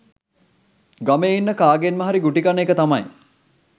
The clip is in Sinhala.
ගමේ ඉන්න කාගෙන්ම හරි ගුටි කන එක තමයි.